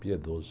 Piedoso.